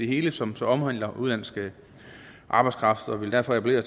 hele som så omhandler udenlandsk arbejdskraft derfor appellerer